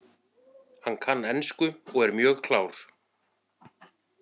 Hann kann ensku og er mjög klár.